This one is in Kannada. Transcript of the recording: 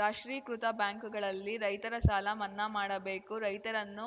ರಾಷ್ಟ್ರೀಕೃತ ಬ್ಯಾಂಕುಗಳಲ್ಲಿ ರೈತರ ಸಾಲ ಮನ್ನಾ ಮಾಡಬೇಕು ರೈತರನ್ನು